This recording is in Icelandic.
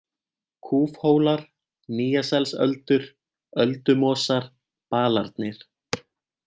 Kúfhólar, Nýjaselsöldur, Öldumosar, Balarnir